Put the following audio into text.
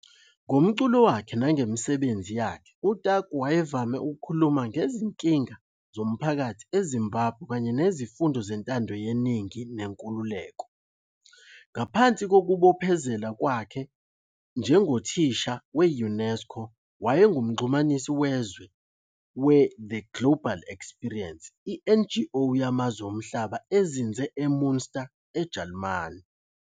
Ngomculo wakhe nangemisebenzi yakhe uTaku wayevame ukukhuluma ngezinkinga zomphakathi eZimbabwe kanye nezifundo zentando yeningi nenkululeko. Ngaphandle kokuzibophezela kwakhe njengothisha we-UNESCO wayengumxhumanisi wezwe we-The Global Experience, i-NGO yamazwe omhlaba ezinze eMünster, eJalimane.